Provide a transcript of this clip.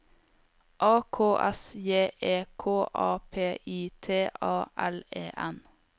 A K S J E K A P I T A L E N